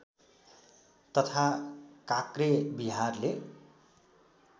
तथा काक्रे विहारले